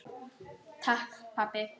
Takk pabbi.